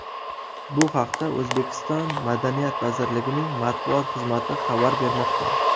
Bu haqda O‘zbekiston Madaniyat vazirligining matbuot xizmati xabar bermoqda .